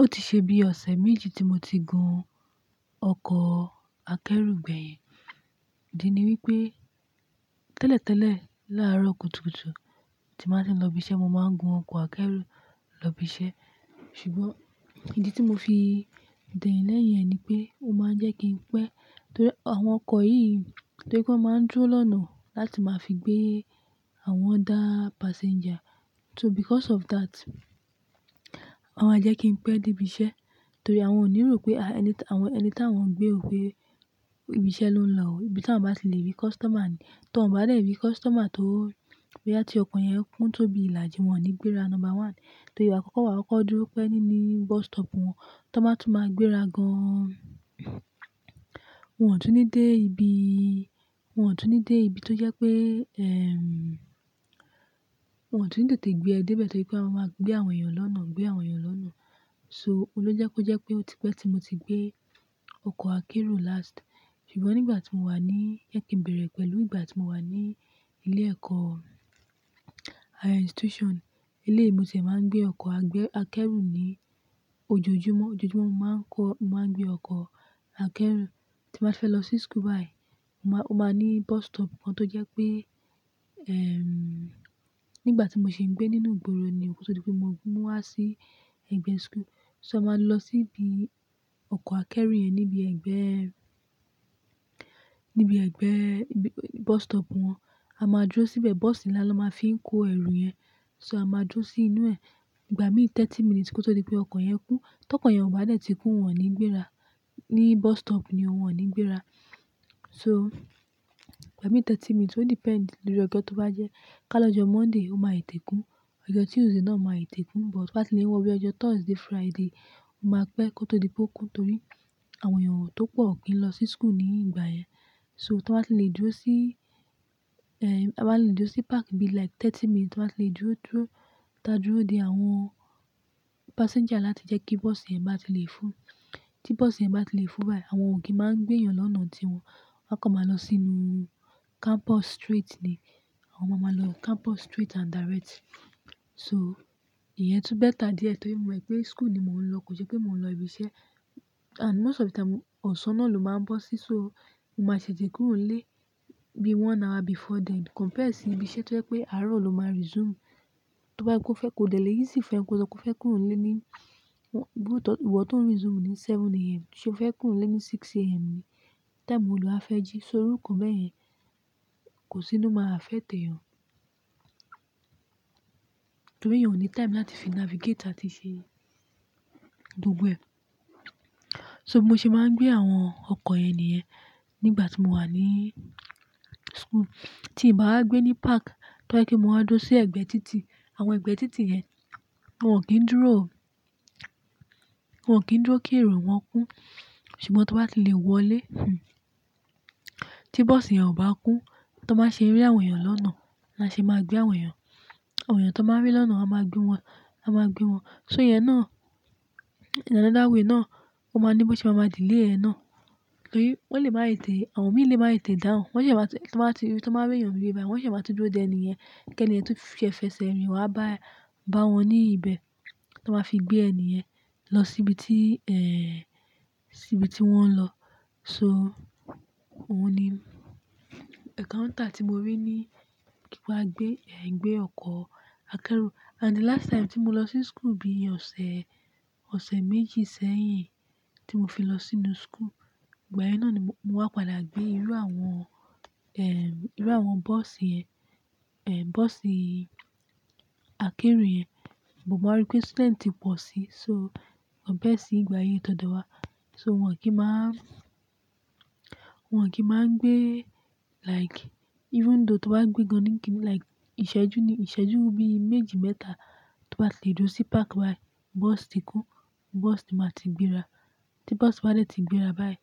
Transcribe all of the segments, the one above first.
Ó ti ṣe bí ọ̀sẹ̀ méjì tí mo ti gun ọkọ̀ akẹ́rù gbẹ̀yìn. Dí ni wípé tẹ́lẹ̀tẹ́lẹ̀ láàárọ̀ kùtùkùtù tí màá ń ṣe lọ ibi iṣẹ́, mo máa ń gun ọkọ̀ akẹ́rù lọ ibi iṣẹ́. Ṣùgbọ́n ìdí tí mo fi dẹ̀ yẹn lẹ́yìn yẹn ni pé ó máa ń jẹ́ kí n pẹ́ torí àwọn ọkọ̀ yìí torí pé wọ́n máa ń dúró lọ́nà láti máa fi gbé àwọn dá passenger. So because of that, wọ́n máa jẹ́ kí n pẹ́ dé ibi iṣẹ́ torí àwọn ò ní rò pé ẹni àwọn anything wọ́n gbé o péibi iṣẹ́ ló ń lọ òó. Ibi tí awọ́n bá ti lè rí customer ni. Tí wọ́n ò bá dẹ́rì rí customer torí pé á ti ọkọ̀ yẹn kún tó bí ìlàjì, wọ́n ò ní gbéra number one. Torí àkọ́kọ́ wà ọkọ̀ dúró pẹ́ nínú bus stop wọn, tí wọ́n bá tún máa gbéra gan an. Wọn ò tú ní dé ibi, wọn ò tú ní dé ibi tó jẹ́ pé, ẹm, wọn ò tú ní tètè gbé ẹ dé ibẹ̀ torí pé wọ́n máa gbé àwọn èèyàn lọ́nà, gbé àwọn èèyàn lọ́nà. So, òun ló jẹ́ kó jẹ́ pé ó ti pẹ́ tí mo ti gbé ọkọ̀ akẹ́rù last. Ṣùgbọ́n nígbà tí mo wà ní ẹ̀ kín bẹ̀rẹ̀ pẹ̀lú ìgbà tí mo wà ní ilé ẹ̀kọ́, higher institution, eléyìí mo tẹ̀ máa ń gbé ọkọ̀ akẹ́rù ni ojoojúmọ́. Ojoojúmọ́ mo máa ń kó, mo máa ń gbé ọkọ̀ akẹ́rù tí màá fẹ́ lọ sí school báyìí. Mo máa, ó máa ní bus stop kan tó jẹ́ pé, ẹm, nígbà tí mò ṣe ń gbé nínú ìgboro ni òkun tó di pé mo mú wá sí ẹ̀gbẹ́ school. So a máa lọ sí ibi ọkọ̀ akẹ́rù yẹn níbi ẹgbẹ́, níbi ẹgbẹ́, níbi bus stop wọn. A máa dúró síbẹ̀, bọ́ọ̀sì ńlá ló máa fi ń kó ẹrù yẹn. So a máa dúró sí inú ẹ̀. Ìgbà mí thirty minutes kó tó di pé ọkọ̀ yẹn kún. Tí ọkọ̀ yẹn ò bá dẹ́tì ti kún, wọn ò ní gbéra. Ní bus stop ni wọ́n ò ní gbéra. So ìgbà mí thirty minutes, ó depend lórí ọjọ́ tó bá jẹ́. Ká lọ́jọ́ Monday, ó máa tètè kùń Ọjọ́ Tuesday náà máa tètè kúǹ. But wọ́n sì lè wọlé ọjọ́ Thursday, Friday. Ó máa pẹ́ kó tó di pé ó kún torí àwọn èèyàn tó pọ̀ kí ń lọ sí school ní ìgbà yẹn. So tí wọ́n bá ti lè dúró sí, ẹm, a máa lè dúró sí park bí like thirty minutes tí wọ́n bá ti lè dúró dúró, ta dúró di àwọn passenger láti jẹ́ kí bọ́ọ̀sì yẹn bá ti lè kún, kí bọ́ọ̀sì yẹn bá ti lè kún báyìí. Àwọn ò kiín máa ń gbé èèyàn lọ́nà tí wọn, wọ́n kọ́ máa lọ sínú campus street ni. Àwọn ọmọ máa lọ campus street and direct. So ìyẹn tú better díẹ̀ torí mo mọ̀ pé school ni mò ń lọ, kò jẹ́ pé mò ń lọ ibi iṣẹ́. And most of the time ọ̀sán náà ló máa ń bọ́ sí so mo máa ṣẹ̀ jẹ kúró lè bí one hour before then. Compare sí ibi iṣẹ́ tí ó jẹ́ pé àárọ̀ ló máa resume. Tí wọ́n bá ti kọ́ fẹ́ kó delẹ́ yìí sí ìfẹ́, kó sọ kó fẹ́ kúró lè ní wọ́n, gbogbo ọ̀tún resume ni aago méje òwúrọ̀. Ṣé o fẹ́ kúró lè ní aago mẹ́fà òwúrọ̀ ni? Time olùwàá fẹ́ jí, so irú nkán bá yẹn kò sì ló máa fẹ́ tẹ́ ọ. Torí èèyàn ní time láti fi navigate àti ṣe gbogbo ẹ̀. So mo ṣe máa ń gbé àwọn ọkọ̀ ẹni yẹn nígbà tí mò wà ní school. Tí bàá gbé ní park, tó bá jẹ́ pé mò wá dúró sí ẹ̀gbẹ́ títì, àwọn ẹ̀gbẹ́ títì yẹn, wọ́n ò kí ń dúró o. Wọn ò kí ń dúró kí èrò wọn kún. Ṣùgbọ́n tí wọ́n bá ti lè wọlé, hm, tí bọ́ọ̀sì yẹn ò bá kún, tí wọ́n bá ṣe rí àwọn èèyàn lọ́nà, ni a ṣe máa gbé àwọn èèyàn. Àwọn èèyàn tí wọ́n bá rí lọ́nà, a máa gbé wọn, a máa gbé wọn. So ìyẹn náà in another way náà, ó máa ní bó ṣe máa ma dílé ẹ náà. Torí wọ́n lè máa ì tẹ́, àwọn mí lè máa tètè dáhùn. Wọ́n ṣé máa tó, tí wọ́n bá rí, tí wọ́n bá rí èèyàn rí báyìí, wọ́n ṣé máa tó dúró dè ẹni yẹn kí ẹni yẹn tó fi ẹfẹ̀sẹ rìn wá bá ẹ, bá wọn ní ibẹ̀ tó máa fi gbé ẹni yẹn lọ síbi tí, ẹẹ́, síbi tí wọ́n ń lọ. So òhun ni encounter tí mo rí ní kí wá gbé, gbé ọkọ̀ akẹ́rù. And the last time tí mo lọ sí school bí i ọ̀sẹ̀, ọ̀sẹ̀ méjì sẹ́yìn tí mo fi lọ sínú school. Ìgbà yẹn náà ni mò wá padà gbé irú àwọn, ẹm, irú àwọn bọ́ọ̀sì ẹ, ẹ, bọ́ọ̀sì akẹ́rù yẹn. Bò bá rí pé student pọ̀ sí so wọ́n bẹ́ẹ̀ sí ìgbà yìí tó dọ̀wá. So wọ́n kì í máa, wọ́n kì í máa ń gbé like even though tí wọ́n bá gbé gan ní kì í like ìṣẹ́jú ni, ìṣẹ́jú bí i méjì mẹ́ta tí wọ́n bá ti lè dúró sí park báyìí, bọ́ọ̀sì ti kún, bọ́ọ̀sì ni máa ti gbéra. Tí bọ́ọ̀sì bá dẹ́rì ti gbéra báyìí,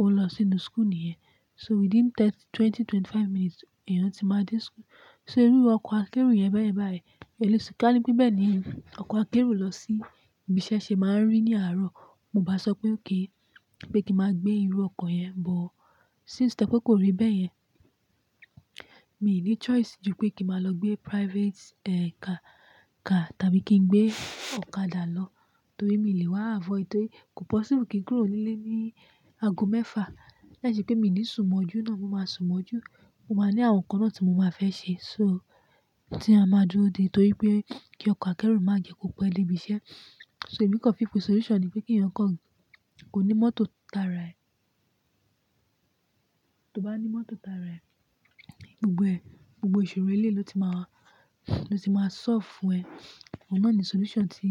ó lọ sínú school nìyẹn. So within thirty, twenty, twenty-five minutes, èèyàn sì máa dé school. So irú ọkọ̀ akẹ́rù yẹn bẹ́ẹ̀ báyìí. Ẹ lè sùn kálẹ̀ pé bẹ́ẹ̀ ni ọkọ̀ akérò lọ sí ibi iṣẹ́ ṣe máa ń rí ní àárọ̀. Mo bá sọ pé òkè, pé kí màá gbé irú ọkọ̀ yẹn, but since tẹ́kò kò rí bẹ́ẹ̀ yẹn, mi ò ní choice ju pé kí màá lọ gbé private, eh, car, car tàbí kí n gbé ọ̀kadà lọ torí mi lè wá avoid. Torí kò possible kí n kúró nílé ní ago mẹ́fà. Láìṣẹ pé mi ní ìsunmọ́jú náà, mo máa sunmọ́jú. Mo máa ní àwọn ǹkan náà tí mo máa fẹ́ ṣe. So tí a máa dúró di torí pé kí ọkọ̀ akẹ́rù má jẹ kò pẹ́ lébi iṣẹ́. So èmi kọ́ fíku solution ni pé kí èèyàn kọ́ kò ní mọ́tò tara ẹ̀. Tí o bá ní mọ́tò tara ẹ̀, gbogbo ẹ̀, gbogbo ìṣòro eléyìí ló ti máa, ló ti máa solve fún ẹ. Òhun náà ni solution tí.